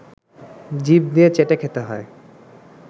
জিভ দিয়ে চেটে খেতে হয়